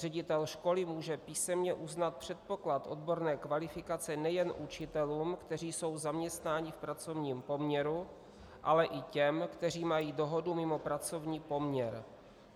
Ředitel školy může písemně uznat předpoklad odborné kvalifikace nejen učitelům, kteří jsou zaměstnáni v pracovním poměru, ale i těm, kteří mají dohodu mimo pracovní poměr.